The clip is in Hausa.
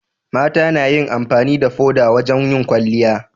mata nayin amfani da foda wajan yin kwalliya